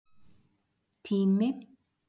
Tími